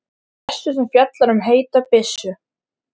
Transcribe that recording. Hún fjallar meðal annars um þróun fósturs og þroska barna.